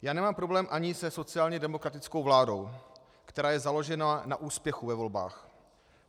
Já nemám problém ani se sociálně demokratickou vládou, která je založena na úspěchu ve volbách.